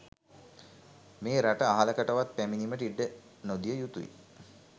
මේ රට අහලකටවත් පැමිණීමට ඉඩ නොදිය යුතුයි.